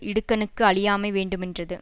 இடுக்கணுக்கு அழியாமை வேண்டுமென்றது